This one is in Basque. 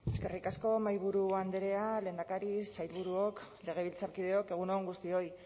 eskerrik asko mahaiburu andrea lehendakari sailburuok legebiltzarkideok egun on guztioi